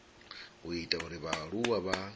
u ita uri vhaaluwa vha